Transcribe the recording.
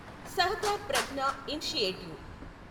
Sahakar Pragya initiative